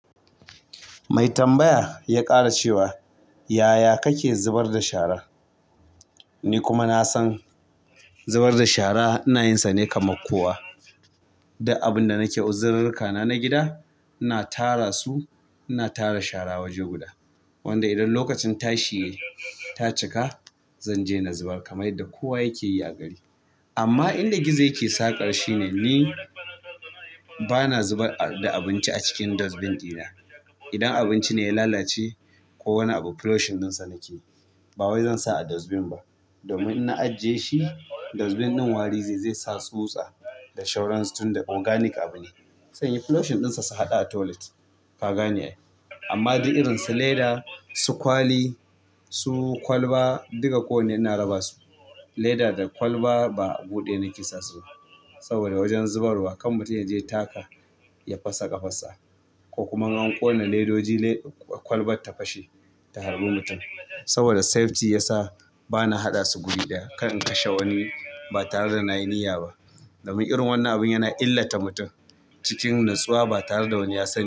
Mai tambaya ya ƙara cewa, "Yaya kake zubar da shara?" Ni kuma na san zubar da shara ina yinsa ne kamar kowa. Duk abun da nake uzirurrukana na gida, ina tara su, ina tara shara waje guda. Wanda idan lokacin tashi yai ta cika, zanje na zubar kamar yadda kowa yake yi a gari. Amma inda gizo yake saƙar shine ni bana zubar da abinci a cikin dustbin ɗina. Idan abinci ne ya lalace ko wani abu, flushing ɗinsa nake. Ba wai zan sa a dustbin ba. Domin in na ajiye shi dustbin ɗin wari zai zesa tutsa da shauransu tun da organic abu ne. Sai flushing ɗinsa su haɗa a toilet. Ka gane ai. Amma dai irin su leda, su kwali, su kwalba duka ko wane ina raba su. Leda da kwalba ba a gu ɗaya nake sa su ba. Saboda wajen zubarwa kam mutum ya je taka ya fasa ƙafarsa ko kuma in an ƙona ledoji kwalbar ta fashe ta halbi mutum saboda safety ya sa bana haɗa su guri ɗaya. Kar in kashe wani ba tare da na yi niyya ba. Domin irin wannan abin yana illata mutum cikin natsuwa ba tare da wani ya sani ba.